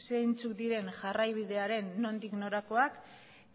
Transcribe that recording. zeintzuk diren jarraibidearen nondik norakoak